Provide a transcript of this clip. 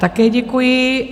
Také děkuji.